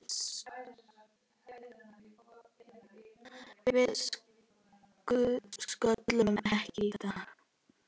Við sköllum ekki í dag!